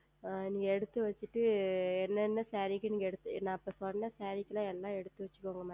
நீங்கள் எடுத்து வைத்து விட்டு என்ன என்ன Saree க்கு நீங்கள் நான் இப்பொழுது சொன்ன Saree க்கு எல்லாம் எடுத்து வைத்துக்கொள்ளுங்கள் Madam